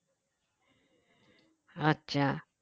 আচ্ছা